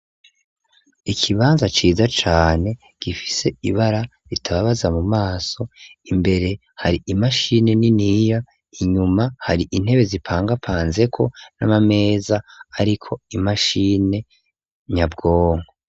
Ikibanza ciza cane gifise ibara ritababaza mu maso imbere hari imashine niniya inyuma hari intebe zipangapanzeko n'amameza, ariko imashine nyabwongo.